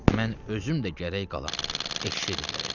Mən özüm də gərək qalam, eşşəy də gərək qala.